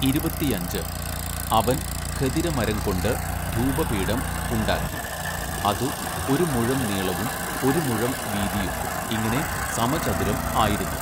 ഇരുപത്തിയഞ്ച്, അവൻ ഖദിരമരം കൊണ്ട് ധൂപപീഠം ഉണ്ടാക്കി അതു ഒരു മുഴം നീളവും ഒരു മുഴം വീതിയും ഇങ്ങനെ സമചതുരം ആയിരുന്നു.